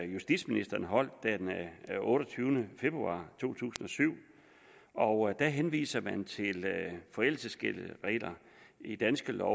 justitsministeren holdt den otteogtyvende februar to tusind og syv og der henviser man til gældende forældelsesregler i danske lov